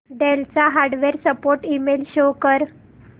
del चा hardware support email show कर